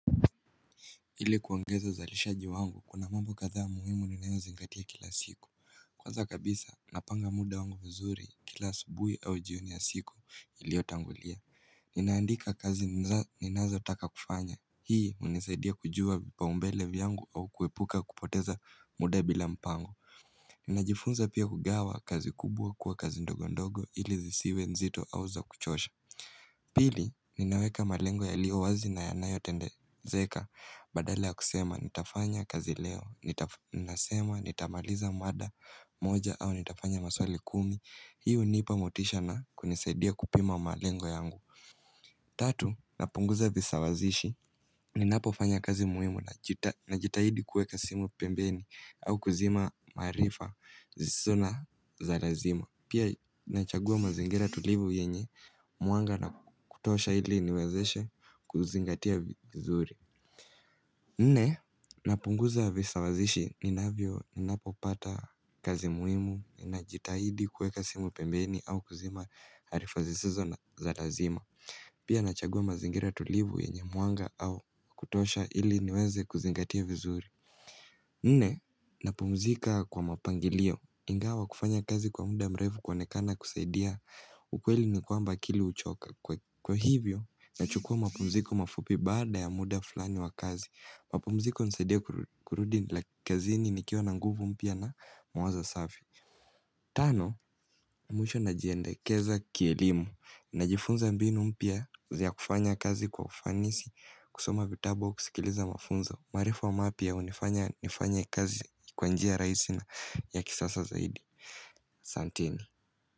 Ili kuongeza uzalishaji wangu, kuna mambo kadhaa muhimu ninayozingatia kila siku. Kwanza kabisa napanga muda wangu mzuri kila asubuhi au jioni ya siku iliotangulia Ninaandika kazi ninazotaka kufanya. Hii hunisaidia kujua vipaumbele vyangu au kuepuka kupoteza muda bila mpango Ninajifunza pia kugawa kazi kubwa kuwa kazi ndogo ndogo ili zisiwe nzito au za kuchosha Pili, ninaweka malengo yaliyo wazi na yanayotendezeka. Badala ya kusema nitafanya kazi leo, ninasema, nitamaliza mada moja au nitafanya maswali kumi. Hii hunipa motisha na kunisaidia kupima malengo yangu Tatu, napunguza visawazishi. Ninapofanya kazi muhimu najitahidi kuweka simu pembeni au kuzima maarifa zisizo za lazima. Pia nachagua mazingira tulivu yenye mwanga na kutosha ili niwezeshe kuzingatia vizuri Nne, napunguza visawazishi ninavyo, ninapopata kazi muhimu, ninajitahidi kuweka simu pembeni au kuzima arifa zisizo la lazima Pia nachagua mazingira tulivu yenye mwanga au kutosha ili niweze kuzingatia vizuri Nne, napumzika kwa mapangilio. Ingawa kufanya kazi kwa muda mrefu kuonekana kusaidia ukweli ni kwamba, akili huchoka. Kwa hivyo, nachukuwa mapumziko mafupi baada ya muda fulani wa kazi. Mapumziko hunisaidia kurudi kazini nikiwa na nguvu mpya na mawazo safi Tano, mwisho najiendekeza kielimu. Najifunza mbinu mpya vya kufanya kazi kwa ufanisi. Kusoma vitabu au kusikiliza mafunza. Maarifa mapya hunifanya nifanye kazi kwa njia rahisi na ya kisasa zaidi. Asanteni.